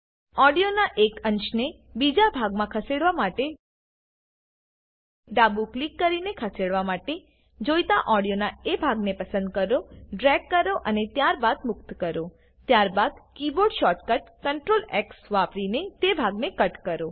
ઓડીયોનાં એક અંશને બીજા ભાગમાં ખસેડવા માટે ડાબું ક્લિક કરીને ખસેડવા માટે જોઈતા ઓડીયોનાં એ ભાગને પસંદ કરો ડ્રેગ કરો અને ત્યારબાદ મુક્ત કરો ત્યારબાદ કીબોર્ડ શોર્ટકટ CtrlX વાપરીને તે ભાગને કટ કરો